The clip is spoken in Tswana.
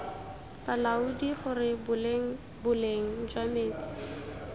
balaodi gore boleng jwa metsi